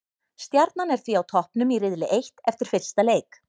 Stjarnan er því á toppnum í riðli eitt eftir fyrsta leik.